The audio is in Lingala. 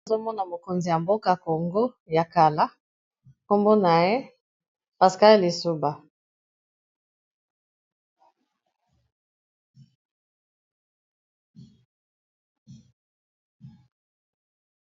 Tozokomona mokolo ya mboka Congo Brazzaville kombo naye Pascal lisuba .